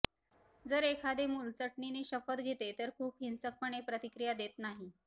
जर एखादे मुल चटणीने शपथ घेते तर खूप हिंसकपणे प्रतिक्रिया देत नाही